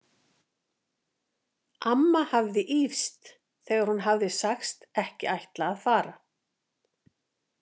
Amma hafði ýfst þegar hún hafði sagst ekki ætla að fara.